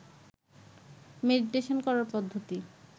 meditation করার পদ্ধতি